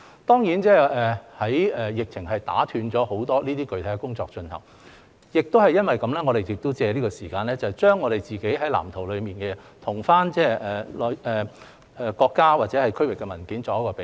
當然，疫情打斷了很多具體工作的進行；因此，我們想藉着這段時間，把自己的《發展藍圖》與國家或區域的文件作比對。